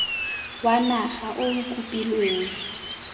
wa naga o o kopilweng